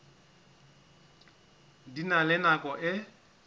di na le nako e